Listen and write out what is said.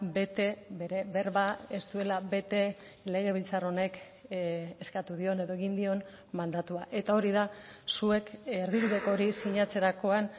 bete bere berba ez duela bete legebiltzar honek eskatu dion edo egin dion mandatua eta hori da zuek erdibideko hori sinatzerakoan